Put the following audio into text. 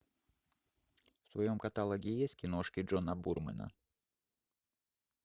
в твоем каталоге есть киношки джона бурмена